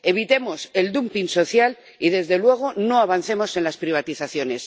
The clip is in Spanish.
Evitemos el dumping social y, desde luego, no avancemos en las privatizaciones.